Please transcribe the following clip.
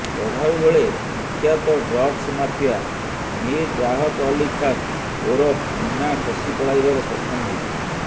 ଚଢାଉ ବେଳେ କୁଖ୍ୟାତ ଡ୍ରଗ୍ସ ମାଫିଆ ମୀର ରାହତ ଅଲ୍ଲୀ ଖାନ୍ ଓରଫ ମୁନ୍ନାଖସି ପଳାଇବାରେ ସକ୍ଷମ ହୋଇଛି